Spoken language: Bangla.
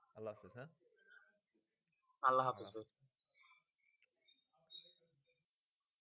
আল্লা হাফিস।